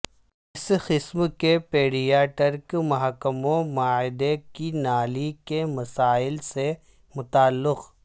اس قسم کے پیڈیاٹرک محکموں معدے کی نالی کے مسائل سے متعلق